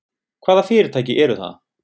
Hvaða fyrirtæki eru það?